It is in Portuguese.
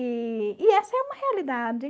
E e essa é uma realidade.